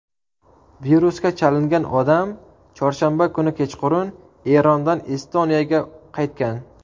Virusga chalingan odam chorshanba kuni kechqurun Erondan Estoniyaga qaytgan.